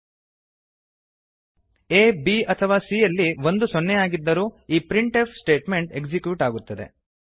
ಆ b ಅಥವಾ c ಯಲ್ಲಿ ಒಂದು ಸೊನ್ನೆಯಾಗಿದ್ದರೂ ಈ ಪ್ರಿಂಟ್ ಎಫ್ ಸ್ಟೇಟ್ಮೆಂಟ್ ಎಕ್ಸಿಕ್ಯೂಟ್ ಆಗುತ್ತದೆ